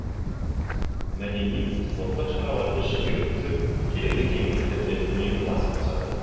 мәдени спорттық шараларды жиі өткізіп келелі кеңестерде үнемі бас қосады